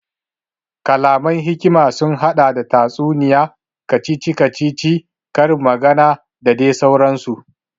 Kalaman hikima sun haɗa da tatsuniya, kacici kacici, ƙarin magana da dai sauran su